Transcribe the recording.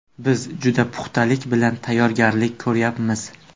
Biz juda puxtalik bilan tayyorgarlik ko‘ryapmiz.